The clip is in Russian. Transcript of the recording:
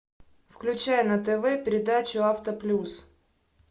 включай на тв передачу авто плюс